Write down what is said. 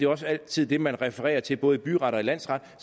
også altid det man refererer til både i byret og i landsret